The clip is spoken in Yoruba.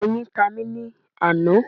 Awọn oyin ta mi ni ana